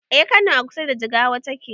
Eh kano a kusa da jigawa take